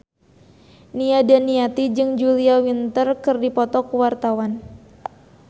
Nia Daniati jeung Julia Winter keur dipoto ku wartawan